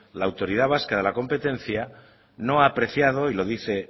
la autoridad vasca de la competencia no ha apreciado y lo dice